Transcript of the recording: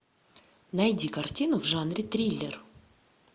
найди картину в жанре триллер